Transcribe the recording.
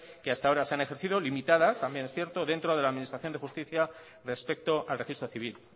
que hasta ahora se han ejercido limitadas ambién es cierto dentro de la administración de justicia respecto al registro civil